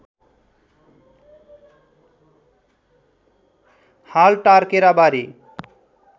हाल टारकेराबारी